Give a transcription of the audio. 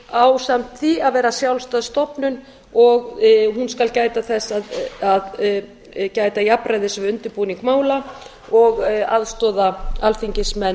ásamt því að vera sjálfstæð stofnun og hún skal gæta þess að gæta jafnræðis við undirbúning mála og aðstoða alþingismenn